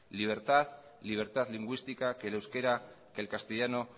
libertad libertad lingüística que el euskera que el castellano